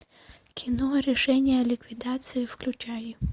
кино решение о ликвидации включай